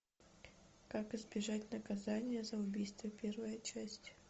как избежать наказание за убийство первая часть